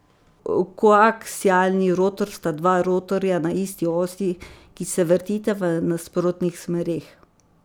Koaksialni rotor sta dva rotorja na isti osi, ki se vrtita v nasprotnih smereh.